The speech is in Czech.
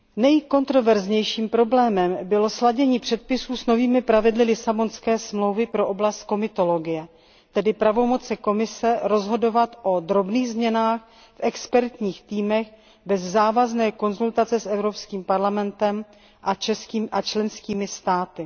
Nejkontroverznějším problémem bylo sladění předpisů s novými pravidly Lisabonské smlouvy pro oblast komitologie, tedy s pravomocí Komise rozhodovat o drobných změnách v expertních týmech bez závazné konzultace s EP a členskými státy.